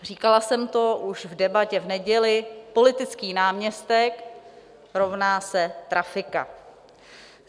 Říkala jsem to už v Debatě v neděli, politický náměstek rovná se trafika.